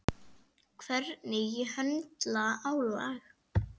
Hvernig ég höndla álag.